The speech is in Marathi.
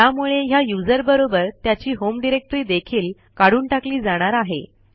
ह्यामुळे ह्या यूझर बरोबर त्याची होम डिरेक्टरी देखील काढून टाकली जाणार आहे